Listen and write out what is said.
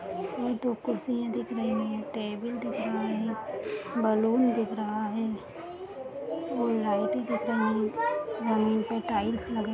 और दो कुर्सियाँ दिख रही है टेबल दिख रहा है बैलून दिख रहा है दिख रहा है पर टाइल्स लगा